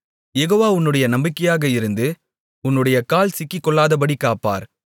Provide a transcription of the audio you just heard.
யெகோவா உன்னுடைய நம்பிக்கையாக இருந்து உன்னுடைய கால் சிக்கிக்கொள்ளாதபடிக் காப்பார்